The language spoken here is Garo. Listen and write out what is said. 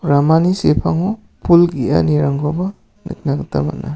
ramani sepango pul ge·anirangkoba niknagita man·a.